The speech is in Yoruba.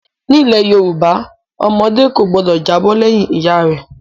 Nílẹ̀ Yorùbá ọmọdé kò gbọdọ̀ jábọ́ lẹ́yìn ìyá rẹ̀.